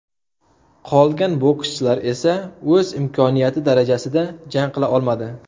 Qolgan bokschilar esa o‘z imkoniyati darajasida jang qila olmadi.